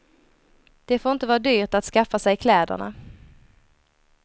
Det får inte vara dyrt att skaffa sig kläderna.